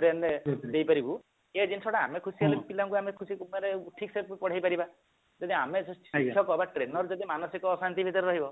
brain ରେ ଦେଇପାରିବୁ ସେ ଜିନିଷଟା ଆମେ ଖୁସି ହେଲେ ପିଲାଙ୍କୁ ଆମେ ଖୁସି ମାନେ ଠିକ ସେ ପଢେଇ ପାରିବା ଯଦି ଆମେ ଶିକ୍ଷକ ବା trainer ଯଦି ମାନସିକ ଆସନ୍ତି ଭିତରେ ରହିବ